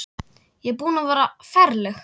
Ég er búin að vera ferleg.